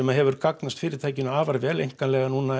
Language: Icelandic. hefur gagnast fyritækinu afar vel einkar núna